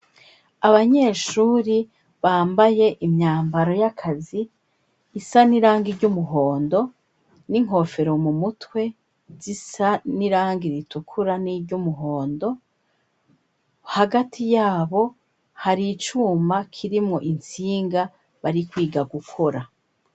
Abanyeshuri bambaye imyambaro yakazi isa n'irangi ry'umuhondo n'inkofero mu mutwe zisa n'irangi ritukura n'iry'umuhondo hagati yabo hari icuma kirimwo intsinga bari kwiga gukora.